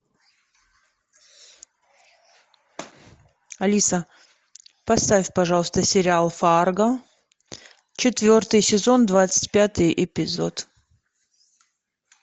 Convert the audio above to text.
алиса поставь пожалуйста сериал фарго четвертый сезон двадцать пятый эпизод